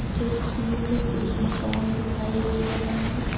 तस्वीर में एक मकान दिखाई दे रहा है।